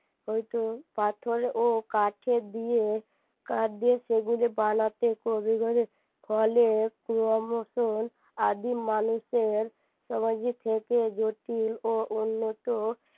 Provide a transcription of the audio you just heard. পাথর ও কাঠের দিয়ে কাঠ দিয়ে সেগুলো বানাতে ফলে সময় মতন আদিম মানুষের সমাজে থেকে জটিল ও উন্নত হইত